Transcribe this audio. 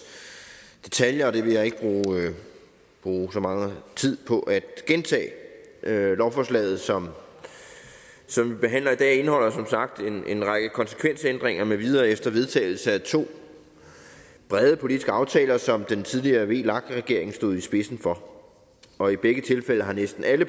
detaljer og det vil jeg ikke bruge så meget tid på at gentage lovforslaget som vi behandler i dag indeholder som sagt en en række konsekvensændringer med videre efter vedtagelsen af to brede politiske aftaler som den tidligere vlak regering stod i spidsen for og i begge tilfælde har næsten alle